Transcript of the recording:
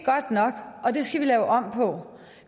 godt nok og det skal vi lave om på